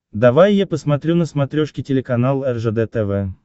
давай я посмотрю на смотрешке телеканал ржд тв